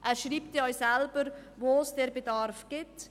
» Er schreibt auch selber, wo es diesen Bedarf gibt.